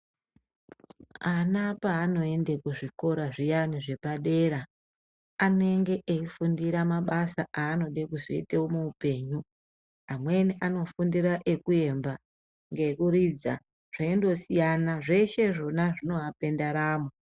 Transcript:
Ana paanoenda kuzvikora zviyane zvepadera anenge eifundira mabasa aanenge eide kuzoite muhupenyu ,amweni anofundira ekuyemba ,ekuridza ,zveindosiyana .Zveshe zvona zvinoape ndaramo